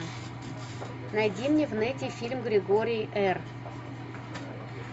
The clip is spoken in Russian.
найди мне в нете фильм григорий р